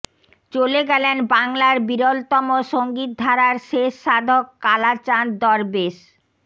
চলে গেলেন বাংলার বিরলতম সঙ্গীতধারার শেষ সাধক কালাচাঁদ দরবেশ